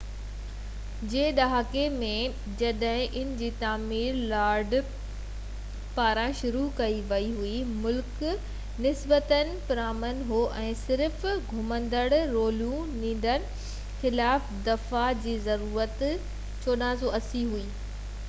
1480 جي ڏهاڪي ۾ جڏهن ان جي تعمير لارڊ هسٽنگس پاران شروع ڪئي وئي هئي مُلڪ نسبتاً پرامن هو ۽ صرف گھومندڙ رولو ننڍن ٽولن خلاف دفاع جي ضرورت هئي